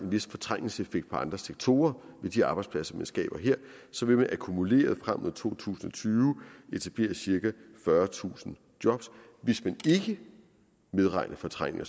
vis fortrængningseffekt på andre sektorer med de arbejdspladser man skaber her vil man akkumuleret frem mod to tusind og tyve etablere cirka fyrretusind job hvis man ikke medregner fortrængning